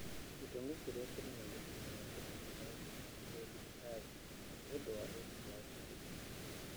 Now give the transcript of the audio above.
Gĩtũmi kĩrĩa kĩnene gĩtũmaga andũ mabatare kũrigitĩrwo thibitarĩ nĩ ũndũ wa ũritũ wa kũhuhia.